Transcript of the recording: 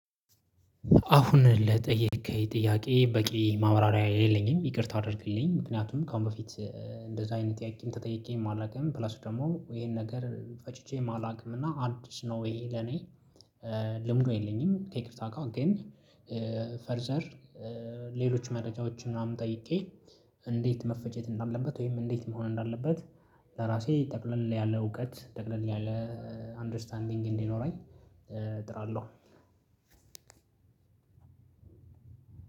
አሁን ለጠየቀኝ ጥያቄ በቂ ማብራሪያ የለኝም ይቅርታ አድርግልኝ። ምክንያቱም ከአሁን በፊት እንደዚ አይነት ጥያቄም ተጠይቄም አላውቅም ፕላስ ደሞ ይሄን ነገር ፈጭቼ አላውቅም እና አዲስ ነው ይሄ ለኔ ልምዱ የለኝም። ከይቅርታ ጋር ግን ፈርዘር ሌሎች መረጃዎችን ምናምን ጠይቄ እንዴት መፈጨት እንዳለበት ወይም እንዴት መሆን እንዳለበት ለራሴ ጠቅለል ያለ እውቀት ጠቅለል ያለ አንደርስታንዲንግ እንዲኖረኝ እጥራለሁ።